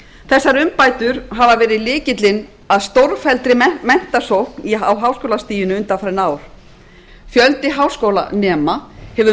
þessar umbætur hefur verið lykillinn að stórfelldri menntasókn að háskólastiginu undanfarin ár fjöldi háskólanema hefur